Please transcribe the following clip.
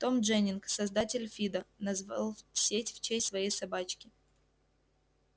том дженнинг создатель фидо назвал сеть в честь своей собачки